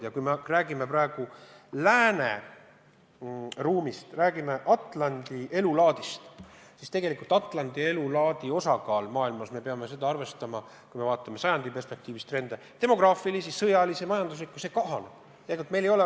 Ja kui me räägime praegu lääne ruumist, räägime Atlandi elulaadist, siis tegelikult Atlandi elulaadi osakaal maailmas – me peame seda arvestama, kui me vaatame sajandi perspektiivis demograafilisi, sõjalisi ja majanduslikke trende – kahaneb.